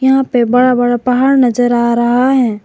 यहां पे बड़ा बड़ा पहाड़ नजर आ रहा है।